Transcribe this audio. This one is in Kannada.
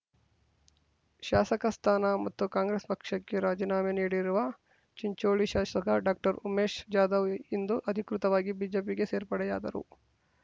ಶಾಸಕ ಸ್ಥಾನ ಮತ್ತು ಕಾಂಗ್ರೆಸ್ ಪಕ್ಷಕ್ಕೆ ರಾಜೀನಾಮೆ ನೀಡಿರುವ ಚಿಂಚೋಳಿ ಶಾಸಕ ‌ಡಾಕ್ಟರ್ ಉಮೇಶ್ ಜಾಧವ್ ಇಂದು ಅಧಿಕೃತವಾಗಿ ಬಿಜೆಪಿಗೆ ಸೇರ್ಪಡೆಯಾದರು